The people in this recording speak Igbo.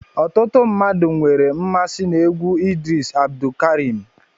Ọtụtụ mmadụ nwere mmasị n'egwu Idris Abdulkareem